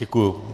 Děkuji.